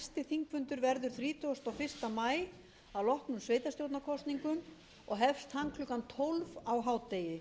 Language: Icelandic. þingfundur verður þrítugasta og fyrsta maí að loknum sveitarstjórnarkosningum og hefst hann klukkan tólf á hádegi